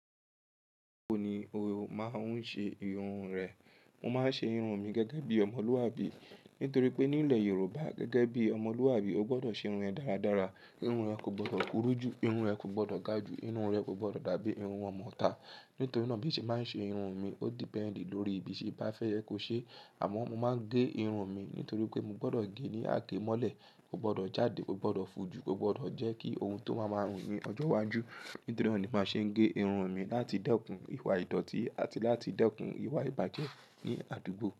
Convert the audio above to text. Wo ni o máa ń ṣe irun rẹ? Mo máa ń ṣe irun mi gẹ́gẹ́ bí Ọmọlúwàbí. Nítorí pé nílẹ̀ Yorùbá gẹ́gẹ́ bí Ọmọlúwàbí, o gbọdọ̀ ṣe irun ẹ dáradára. Irun ẹ kò gbọdọ̀ kúrú jù, irun ẹ kò gbọdọ̀ ga jù, irun ẹ kò gbọdọ̀ dàbí irun ọmọọta. Nítorí náà bí mo ṣe máa ń ṣe irun mi, ó dependi lórí bí se bá fẹ́ ẹ kó ṣe. Àmọ́ mo máa ń gé irun mi nítorí pé mo gbọdọ̀ gé ní àágémọ́lẹ̀, kò gbọdọ̀ jáde, kò gbọdọ̀ fò jù, kò gbọdọ̀ jẹ́ kí ohun tó máa máa rùn ní ọjọ́ iwájú. Nítorí náà ni màá ṣe ń gé irun mi láti dẹ́kun ìwà ìdọ̀ọ̀tí àti láti dẹ́kun ìwà ìbàjẹ́ ní àdúgbò.